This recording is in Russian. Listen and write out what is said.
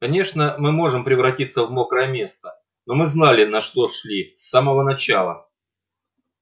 конечно мы можем превратиться в мокрое место но мы знали на что шли с самого начала